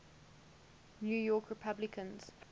new york republicans